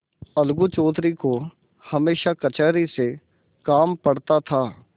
अलगू चौधरी को हमेशा कचहरी से काम पड़ता था